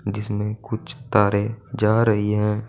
जिसमें कुछ तारे जा रही है।